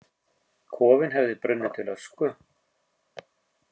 Kofinn hefði brunnið til ösku!